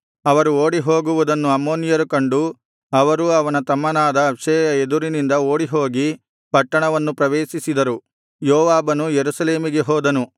ಅವರು ಓಡಿಹೋಗುವುದನ್ನು ಅಮ್ಮೋನಿಯರು ಕಂಡು ಅವರೂ ಅವನ ತಮ್ಮನಾದ ಅಬ್ಷೈಯ ಎದುರಿನಿಂದ ಓಡಿಹೋಗಿ ಪಟ್ಟಣವನ್ನು ಪ್ರವೇಶಿಸಿದರು ಯೋವಾಬನು ಯೆರೂಸಲೇಮಿಗೆ ಹೋದನು